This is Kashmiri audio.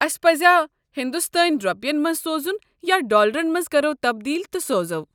اسہ پزیٛا سوزُن ہندوستٲنہِ روپین منٛز سوزُن یا ڈالرن منٛز كرو تبدیٖل تہٕ سوزو؟